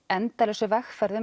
endalausu vegferð